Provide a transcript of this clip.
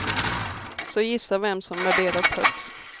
Så gissa vem som värderas högst.